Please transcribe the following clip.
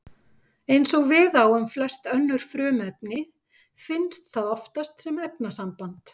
Eins og við á um flest önnur frumefni finnst það oftast sem efnasamband.